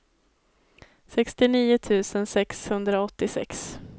sextionio tusen sexhundraåttiosex